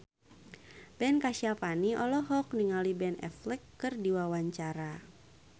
Ben Kasyafani olohok ningali Ben Affleck keur diwawancara